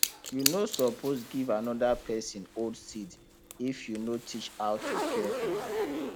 you no suppose give another person old seed if you no teach how to care for am